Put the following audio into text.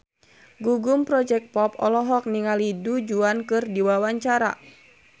Gugum Project Pop olohok ningali Du Juan keur diwawancara